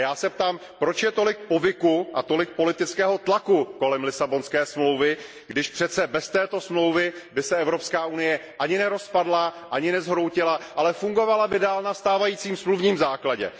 A já se ptám, proč je tolik povyku a tolik politického tlaku kolem Lisabonské smlouvy, když přece bez této smlouvy by se Evropská unie ani nerozpadla, ani nezhroutila, ale fungovala by dále na stávajícím smluvním základu.